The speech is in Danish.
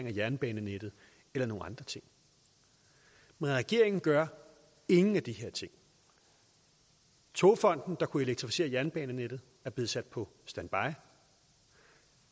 af jernbanenettet eller nogle andre ting men regeringen gør ingen af de her ting togfonden dk der kunne elektrificere jernbanenettet er blevet sat på standby